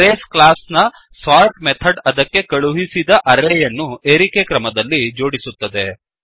arrays class ನ sort method ಅದಕ್ಕೆ ಕಳುಹಿಸಿದ ಅರೇ ಯನ್ನು ಏರಿಕೆ ಕ್ರಮದಲ್ಲಿ ಜೋಡಿಸುತ್ತದೆ